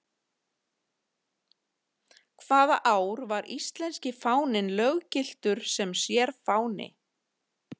Hvaða ár var íslenski fáninn löggiltur sem sérfáni?